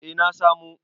eh na samo